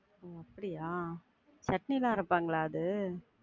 ஒ அப்படியா? சட்னிலாம் அரைப்பாங்களா அது?